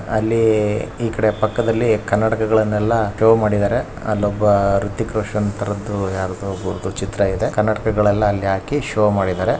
ಅಲ್ಲಿ ಈ ಕಡೆ ಪಕ್ಕದಲ್ಲಿ ಕನ್ನಡಕಗಳನ್ನ ಸ್ಟೋರ್ ಮಾಡಿದರೆ. ಅಲ್ಲೊಬ್ಬ ರಿತಿಕ್ ರೋಷನ್ ತರಹದ್ದು ಯಾರದೋ ಚಿತ್ರ ಇದೆ ಕನ್ನಡಕ ಎಲ್ಲ ಹಾಕಿ ಶೋ ಮಾಡಿದಾರೆ .